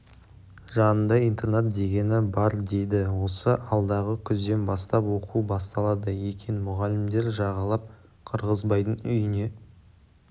жанында интернат дегені бар дейді осы алдағы күзден бастап оқу басталады екен мұғалімдер жағалап қырғызбайдың үйіне